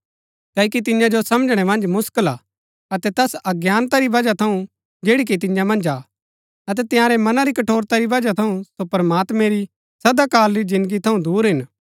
क्ओकि तियां जो समझणै मन्ज मुसकल हा अतै तैस अज्ञानता री बजहा थऊँ जैड़ी कि तियां मन्ज हा अतै तंयारै मनां री कठोरता री बजहा थऊँ सो प्रमात्मैं री सदा काल री जिन्दगी थऊँ दूर हिन